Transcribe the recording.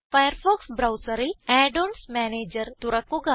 Firefox ബ്രൌസറിൽ add ons manager തുറക്കുക